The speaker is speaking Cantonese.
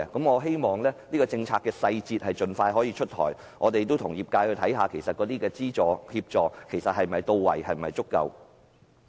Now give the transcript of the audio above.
我希望這項政策的細節可以盡快出台，我們亦會與業界探討，這方面的資助及協助是否足夠。